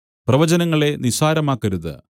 പ്രവചനങ്ങളെ നിസ്സാരമാക്കരുത്